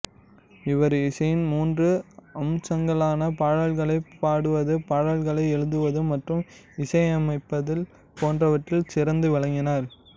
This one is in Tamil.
இவர் இசையின் மூன்று அம்சங்களான பாடல்களைப் பாடுவது பாடல்களை எழுதுவது மற்றும் இசையமைத்தல் போன்றவற்றில் சிறந்து விளங்கினார்